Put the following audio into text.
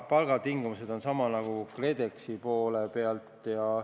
" Palgatingimused on samad nagu KredExi poole peal.